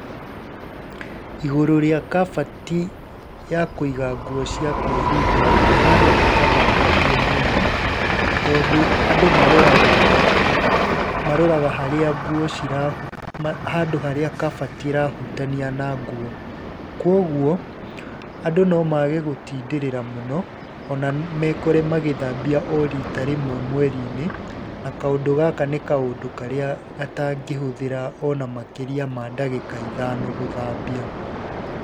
Igũrũ rĩa kabati ya kũiga nguo cia kũihumba nĩ handũ hatathambagio mũno tondũ andũ maroraga, maroraga harĩa nguo cira, handũ harĩa kabati ĩrahutania na nguo. Kuũguo andũ nomage gũtindĩrĩra mũno ona mekore magĩthambia o rita rĩmwe mweri-inĩ na kaũndũ gaka nĩ kaũndũ karĩa gatangĩhũthĩra ona makĩria ma ndagĩka ithano gũthambia.